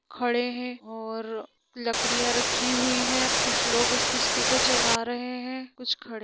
खड़े हैं और लकड़िया रखी हुई है कुछ लोग इस कस्ती को चला रहै हैं कुछ खड़े --